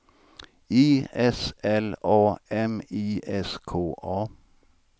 I S L A M I S K A